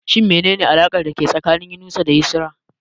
Shin menene alakar dake tsakanin Inusa da Yusra?